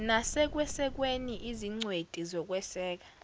nasekwesekweni izingcweti zokweseka